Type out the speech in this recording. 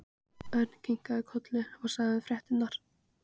Örn kinkaði kolli og sagði þeim fréttirnar.